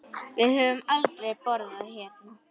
Við höfum aldrei borðað hérna.